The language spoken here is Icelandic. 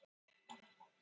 Hvor á stærri loðhúfu